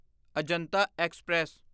Ajanta express